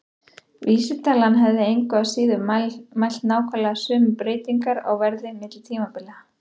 Vísitalan hefði engu að síður mælt nákvæmlega sömu breytingar á verði á milli tímabila.